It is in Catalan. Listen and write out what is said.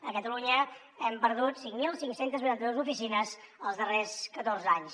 a catalunya hem perdut cinc mil cinc cents i vuitanta dos oficines els darrers catorze anys